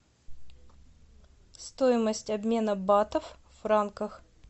стоимость обмена батов в франках